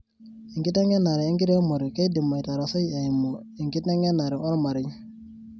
Enkitengenare enkiremore keidim aitarasai eimu enkitengenare omarei.